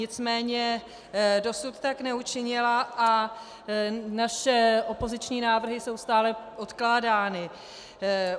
Nicméně dosud tak neučinila a naše opoziční návrhy jsou stále odkládány.